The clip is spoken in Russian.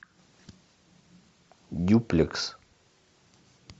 дюплекс